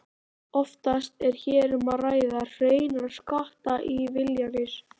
Oftast er hér um að ræða hreinar skattaívilnanir.